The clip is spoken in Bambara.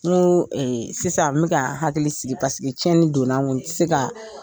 N go sisan n bɛ ka n hakili sigi tiɲɛni don na n kun n ti se ka